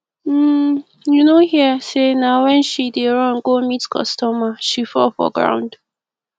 um you no hear say na wen she dey run go meet customer she fall for ground